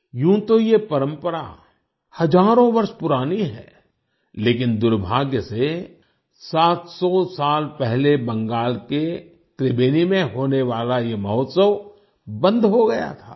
यूं तो ये परंपरा हजारों वर्ष पुरानी है लेकिन दुर्भाग्य से 700 साल पहले बंगाल के त्रिबेनी में होने वाला ये महोत्सव बंद हो गया था